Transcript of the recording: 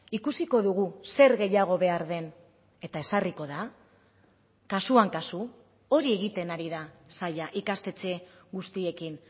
ikusiko dugu zer gehiago behar den eta ezarriko da kasuan kasu hori egiten ari da saila ikastetxe guztiekin